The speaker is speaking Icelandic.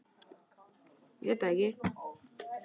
Þórarinn, hvar er dótið mitt?